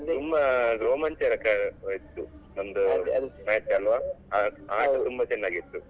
ತುಂಬಾ ರೋಮಾಂಚಕ ಇತ್ತು ನಮ್ದು match ಅಲ್ವಾ? ಆಟ ತುಂಬಾ ಚೆನ್ನಾಗಿತ್ತು.